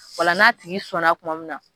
O la n'a tigi sɔnna tuma min na